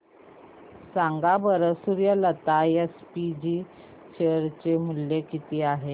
सांगा बरं Suryalata SPG share चे मूल्य किती आहे